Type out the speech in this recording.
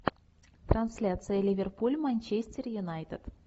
трансляция ливерпуль манчестер юнайтед